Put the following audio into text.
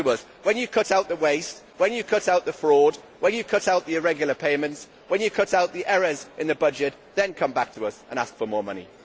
When you cut out the waste, when you cut out the fraud, when you cut out the irregular payments, when you cut out the errors in the budget, then come back to us and ask for more money.